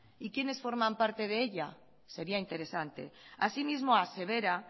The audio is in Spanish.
y quiénes forman parte de ella sería interesante así mismo asevera